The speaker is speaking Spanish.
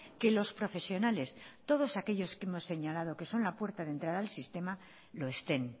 que los profesionales todos aquellos que hemos señalado que son la puerta de entrada al sistema lo estén